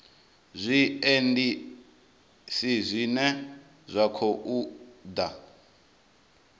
zwiendisi zwine zwa khou ḓa